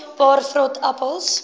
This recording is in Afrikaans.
paar vrot appels